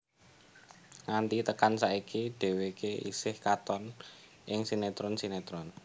Nganti tekan saiki dheweke isih katon ing sinetron sinetron